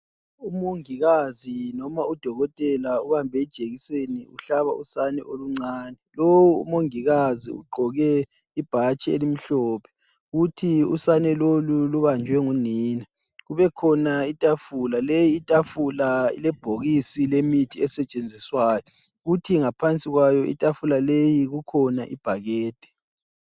Umongikazi noma Udokotela ubambe ijekiseni uhlaba usana oluncane .Lowu umongikazi ugqoke ibhatshi elimhlophe, futhi usane lubanjwe ngunina .Kubekhona itafula ,leyi itafula ilebhokisi lemithi esetshenziswayo ,kuthi ngaphansi kwayo itafula leyi kukhona ibhakede.